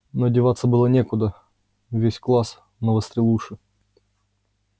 но деваться было некуда весь класс навострил уши